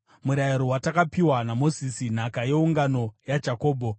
murayiro watakapiwa naMozisi, nhaka yeungano yaJakobho.